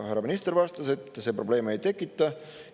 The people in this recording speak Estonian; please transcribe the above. Härra minister vastas, et see probleeme ei tekita.